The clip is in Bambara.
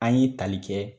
An ye tali kɛ